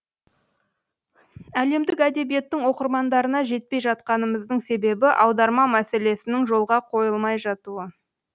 әлемдік әдебиеттің оқырмандарына жетпей жатқанымыздың себебі аударма мәселесінің жолға қойылмай жатуы